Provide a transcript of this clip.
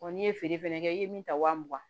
n'i ye feere fɛnɛ kɛ i ye min ta wa mugan